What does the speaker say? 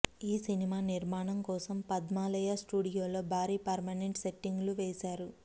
ఈ సినిమా నిర్మాణం కోసం పద్మాలయా స్టూడియోలో భారీ పర్మనెంట్ సెట్టింగ్ లు వేసారు